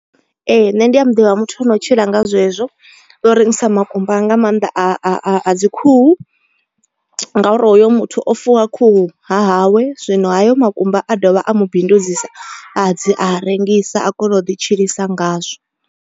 Ee nṋe ndi a muḓivha muthu ano tshila nga zwezwo u rengisa makumba nga maanḓa a a a a dzi khuhu ngauri hoyo muthu o fuwa khuhu hahawe. Zwino hayo makumba a dovha a mubindudzisa a dzi a rengisa a kono u ḓi tshilisa ngazwo.